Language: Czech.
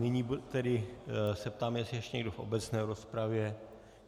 Nyní tedy se ptám, jestli ještě někdo v obecné rozpravě.